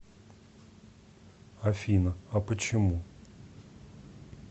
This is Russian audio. афина а почему